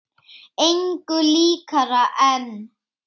Engu líkara en